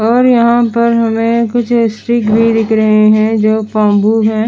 और यहाँ पर हमे कुछ स्टिक भी दिख रहे है जो बम्बू है।